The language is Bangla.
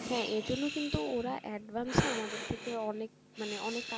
হ্যাঁ এই জন্যই কিন্তু ওরা advance ও আমাদের থেকে অনেক মানে অনেক,